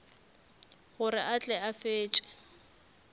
gore a tle a fetše